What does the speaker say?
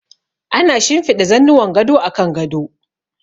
Ana shinfiɗa zannuwan gado a kan gado.